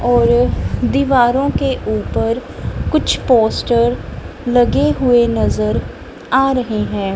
और दीवारों के ऊपर कुछ पोस्टर लगे हुए नजर आ रहे हैं।